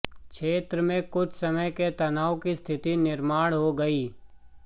क्षेत्र में कुछ समय के तनाव की स्थिति निर्माण हो गई